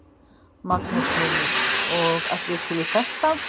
Magnús Hlynur: Og allir til í þetta?